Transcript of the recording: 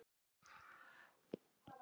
Þetta er ekkert grín, Ragga.